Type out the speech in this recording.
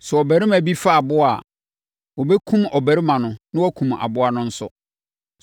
“ ‘Sɛ ɔbarima bi fa aboa a, wɔbɛkum ɔbarima no na wɔakum aboa no nso.